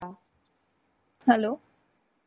Hello!